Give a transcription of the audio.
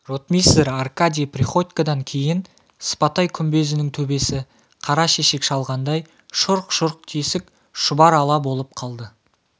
ротмистр аркадий приходькодан кейін сыпатай күмбезінің төбесі қара шешек шалғандай шұрқ-шұрқ тесік шұбар ала болып қалды